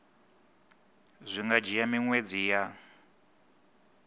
zwi nga dzhia miṅwedzi ya